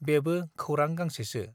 बेबो खौरां गांसेसो